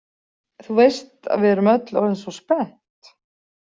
Þú veist að við erum öll orðin svo spennt.